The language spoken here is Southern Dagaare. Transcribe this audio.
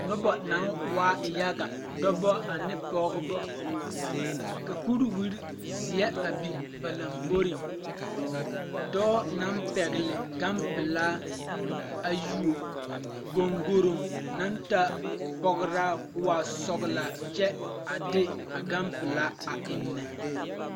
Noba naŋ waa yaga dɔba ane pɔgeba ka kuriwire zeɛ a biŋ ba lamboriŋ dɔɔ naŋ pɛgle gampilaa a yuo goŋgoroŋ naŋ taa pɔgraa ko waa sɔglaa kyɛ a de a gan pilaa a eŋnɛ.